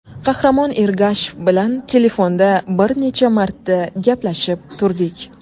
Qahramon Ergashev bilan telefonda bir necha marta gaplashib turdik.